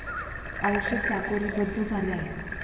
आयुष्य चाकोरीबद्ध झाले आहे.